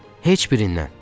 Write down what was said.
Heç birindən.